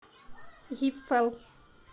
гипфэл